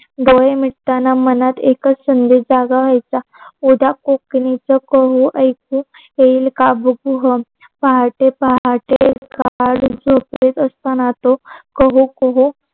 डोळे मिताटांना मनात एकच संदेश जागा व्हायचा, उघ्या कोकिलेच कहू ऐकु येईल का हुक कुहू पहाटे पहाटे गाड झोपेत असतांना तो कहू कहू